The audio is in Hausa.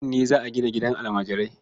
Nan ne za a gina gidan almajirai.